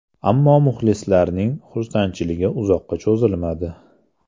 Ammo muxlislarning xursandchiligi uzoqqa cho‘zilmadi.